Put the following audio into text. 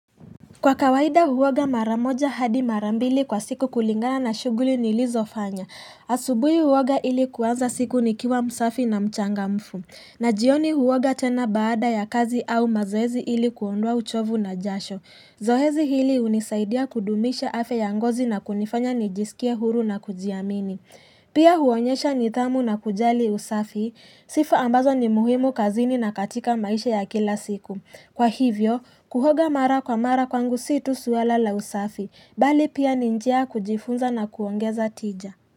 Kwa kawaida huoga mara moja hadi mara mbili kwa siku kulingana na shuguli nilizofanya. Asubuhi huoga ili kuanza siku nikiwa msafi na mchangamfu. Na jioni huoga tena baada ya kazi au mazoezi ili kuondoa uchovu na jasho. Zoezi hili hunisaidia kudumisha afya ya ngozi na kunifanya nijisikie huru na kujiamini. Pia huonyesha nidhamu na kujali usafi, sifa ambazo ni muhimu kazini na katika maisha ya kila siku. Kwa hivyo, kuoga mara kwa mara kwangu si tu suala la usafi, bali pia ni njia ya kujifunza na kuongeza tija.